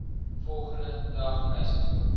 volgende dag huistoe